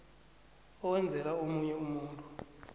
owenzela omunye umuntu